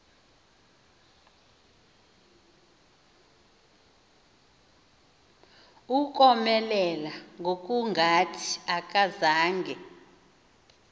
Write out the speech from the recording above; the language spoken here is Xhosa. ukomelela ngokungathi akazange